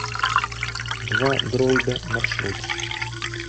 двадроида маршрут